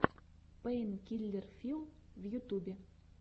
пэйнкиллер филл в ютубе